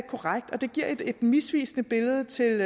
korrekt og det giver et misvisende billede til